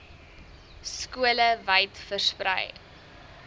skole wyd versprei